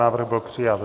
Návrh byl přijat.